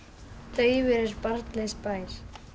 daufur er barnlaus bær